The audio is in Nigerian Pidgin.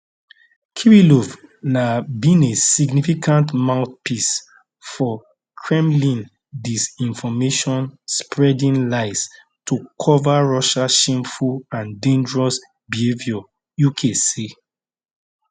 kirillov na been a significant mouthpiece for kremlin disinformation spreading lies to cover russia shameful and dangerous behaviour uk say